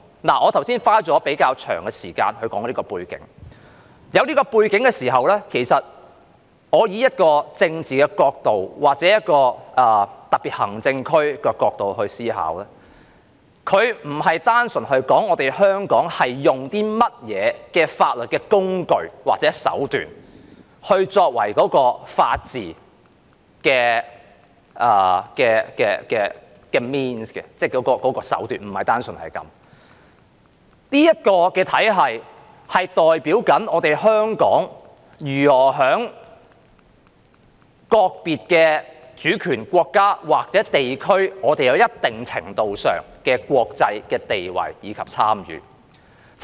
我剛才花了比較長時間講述這個背景，有了這個背景後，從政治角度或特別行政區的角度來思考，它並非單純指香港採用甚麼法律工具或手段作為法治的 means， 即手段，而是這個體系代表香港如何在各主權國家或地區有一定程度上的國際地位和參與。